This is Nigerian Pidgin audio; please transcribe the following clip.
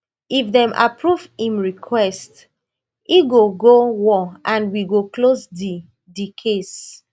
if dem approve im request e go go war and we go close di di case